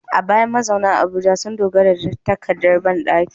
A baya, mazauna Abuja sun dogara da takardar bandaki